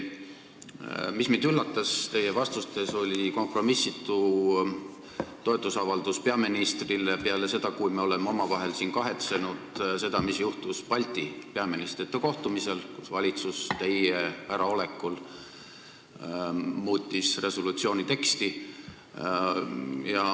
Mind üllatas teie vastustes kompromissitu toetusavaldus peaministrile pärast seda, kui me oleme siin omavahel avaldanud kahetsust selle üle, mis juhtus Balti peaministrite kohtumisel, kus valitsus teie äraolekul muutis resolutsiooni teksti.